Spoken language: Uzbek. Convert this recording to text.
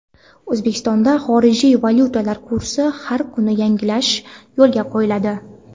O‘zbekistonda xorijiy valyutalar kursini har kuni yangilash yo‘lga qo‘yiladi.